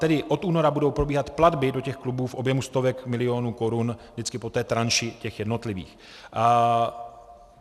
Tedy od února budou probíhat platby do těch klubů v objemu stovek milionů korun, vždycky po té tranši těch jednotlivých.